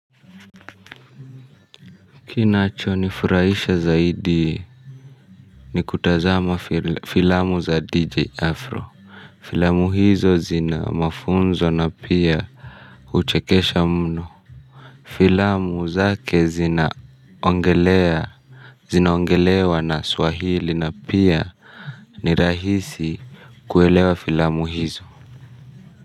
Kinachonifurahisha zaidi ni kutazama filamu za DJ Afro. Filamu hizo zina mafunzo na pia huchekesha mno. Filamu zake zinaongelewa na swahili na pia ni rahisi kuelewa filamu hizo.